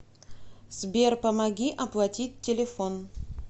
сбер помоги оплатить телефон